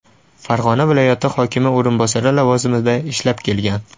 Farg‘ona viloyati hokimi o‘rinbosari lavozimida ishlab kelgan.